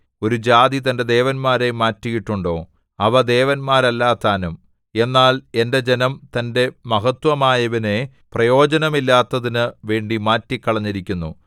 ഒരു ജാതി തന്റെ ദേവന്മാരെ മാറ്റിയിട്ടുണ്ടോ അവ ദേവന്മാരല്ലതാനും എന്നാൽ എന്റെ ജനം തന്റെ മഹത്വമായവനെ പ്രയോജനമില്ലാത്തതിനു വേണ്ടി മാറ്റിക്കളഞ്ഞിരിക്കുന്നു